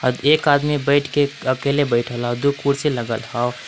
अ एक आदमी बइठ के अकेले बइठल ह दु कुर्सी लगल ह।